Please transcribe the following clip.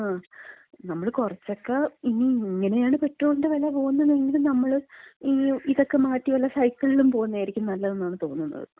നമ്മള് കുറച്ചക്ക, ഇനി ഇങ്ങനെയാണ് പെട്രോളിന്‍റെ വെല പോകുന്നതെങ്കി നമ്മളിതക്ക മാറ്റി വല്ല സൈക്കിളിലും പോകുന്നതായിരിക്കും നല്ലതെന്നാണ് തോന്നണത്.